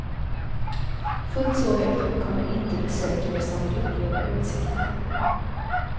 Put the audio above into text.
Fullt så högt upp kommer inte besökare som vill uppleva utsikten.